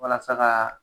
Walasa ka